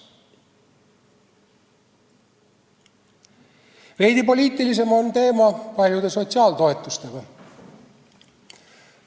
Veidi poliitilisem on paljude sotsiaaltoetuste teema.